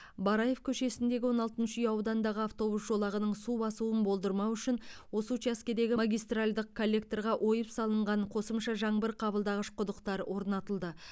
бараев көшесіндегі он алтыншы үй ауданындағы автобус жолағының су басуын болдырмау үшін осы учаскедегі магистральдық коллекторға ойып салынған қосымша жаңбыр қабылдағыш құдықтар орнатылды